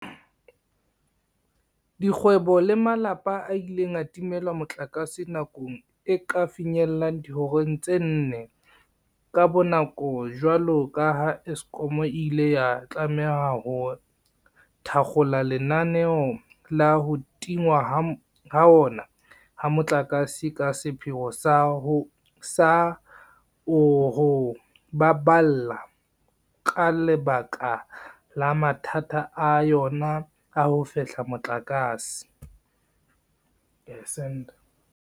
Dikgwebo le malapa a ile a timelwa motlakase nako e ka finyellang dihoreng tse nne ka bonako jwalo ka ha Eskom e ile ya tlameha ho thakgola lenaneo la ho tingwa hona ha motlakase ka sepheo sa o ho baballa ka lebaka la mathata a yona a ho fehla motlakase.